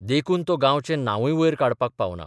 देखून तो गांवाचें नांबूय वयर काडपाक पावना.